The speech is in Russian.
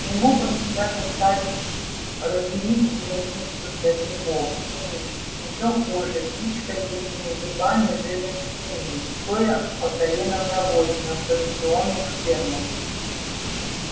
не мог он себя заставить рыхлить землицу для грибов или ещё хуже пичкать этими грибами жирных свиней стоя по колено в навозе на станционных фермах